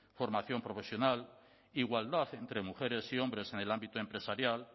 formación profesional igualdad entre mujeres y hombres en el ámbito empresarial